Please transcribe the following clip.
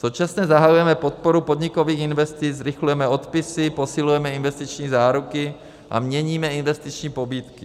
Současně zahajujeme podporu podnikových investic, zrychlujeme odpisy, posilujeme investiční záruky a měníme investiční pobídky.